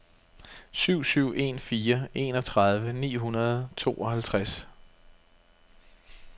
syv syv en fire enogtredive ni hundrede og tooghalvtreds